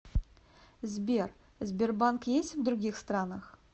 сбер сбербанк есть в других странах